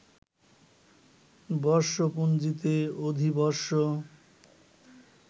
বর্ষপঞ্জিতে অধিবর্ষ